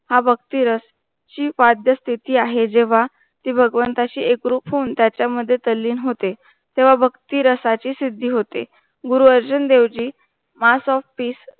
हा भक्ती रस शीख वाद्यस्थिती आहे जेंव्हा ती भगवंताशी एकरूप होऊन त्याचा मध्ये तल्लीन होते, तेव्हा भक्ती रसाची सिद्धी होते Guru Arjun Devji MASS OF PEACE